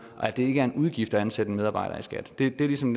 og at det ikke er en udgift at ansætte en medarbejder i skat det er ligesom